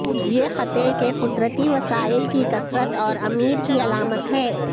یہ خطے کے قدرتی وسائل کی کثرت اور امیر کی علامت ہے